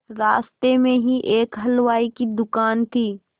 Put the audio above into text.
रास्ते में ही एक हलवाई की दुकान थी